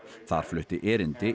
þar flutti erindi